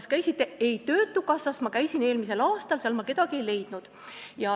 Saan vastuseks, et ei, töötukassas käidi eelmisel aastal ja sealt kedagi ei leitud.